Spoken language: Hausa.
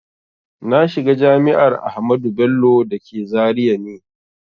Na shiga jami'ar Ahmadu Bello da ke Zaria ne